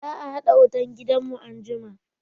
Za a haɗa wutan gidan mu anjima